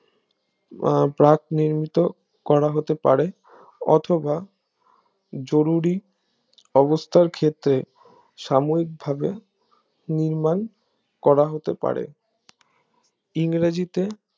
আহ প্রাক নির্মিত করা হতে পারে অথবা জরুরি অবস্থার ক্ষেত্রে সাময়িক ভাবে নির্মাণ করা হতে পারে ইংরেজিতে